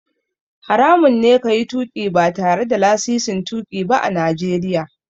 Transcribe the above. Haramun ne ka yi tuƙi ba tare da lasisin tuƙi ba a Najeriya.